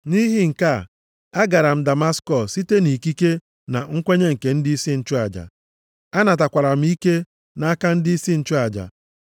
“Nʼihi nke a, a gara m Damaskọs site nʼikike na nkwenye nke ndịisi nchụaja. Anatakwara m ike nʼaka ndịisi nchụaja.